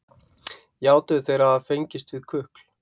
játuðu þeir að hafa fengist við kukl